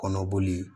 Kɔnɔboli